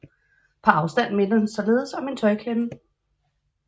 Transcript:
På afstand minder den således om en tøjklemme